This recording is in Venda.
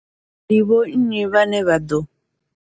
Ndi vho nnyi vhane vha ḓo.